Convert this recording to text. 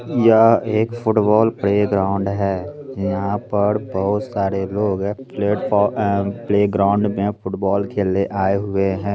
यह एक football playground है यहाँ पर बहुत सारे लोग है एंड प्लेग्राउंड में फुटबाल खेले आए हुए हैं।